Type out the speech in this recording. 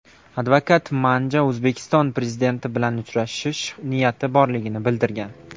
Advokat Manja O‘zbekiston prezidenti bilan uchrashish niyati borligini bildirgan.